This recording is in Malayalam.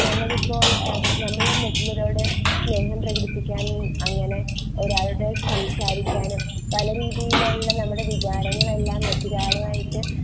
ഞങ്ങൾ ഇപ്പോൾ എഹ് നമ്മൾ മറ്റുള്ലലോരോട് സ്നേഹം പ്രേകടിപ്പിക്കാൻ അങ്ങനെ ഒരാളുടെ സംസാരിക്കാനും പലരീതിയിൽ ഉള്ള നമ്മളുടെ വികാരങ്ങൾ ഒക്കെ മറ്റൊരാളുമായിട്ട്